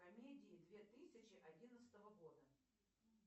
комедии две тысячи одиннадцатого года